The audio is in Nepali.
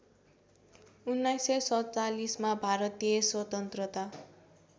१९४७मा भारतीय स्वतन्त्रता